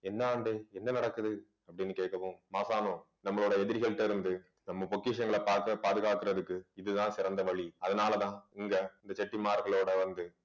என்ன ஆண்டே என்ன நடக்குது அப்படின்னு கேட்கவும் மாசாணம் நம்மளோட எதிரிகள்ட்ட இருந்து நம்ம பொக்கிஷங்களை பாக்க~பாதுகாக்கிறதுக்கு, இதுதான் சிறந்த வழி அதனாலதான் இங்க இந்த செட்டிமார்களோட வந்து